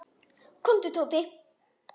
Komdu, Tóti.